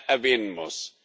erwähnen muss.